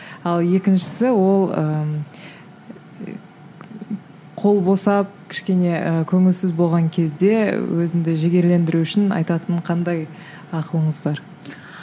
ал екіншісі ол қол босап кішкене і көңілсіз болған кезде өзіңді жігерлендіру үшін айтатын қандай ақылыңыз бар